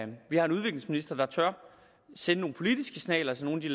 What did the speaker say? vi har en udviklingsminister der tør sende nogle politiske signaler til nogle af de